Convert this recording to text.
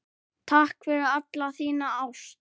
Takk fyrir alla þína ást.